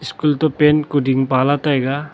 school to paint kuding pala taiga.